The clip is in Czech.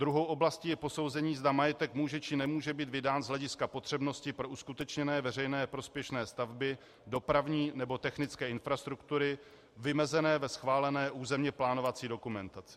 Druhou oblastí je posouzení, zda majetek může, či nemůže být vydán z hlediska potřebnosti pro uskutečněné veřejně prospěšné stavby, dopravní nebo technické infrastruktury vymezené ve schválené územně plánovací dokumentaci.